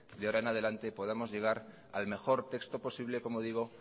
de ahora en adelante podamos llegar al mejor texto posible como digo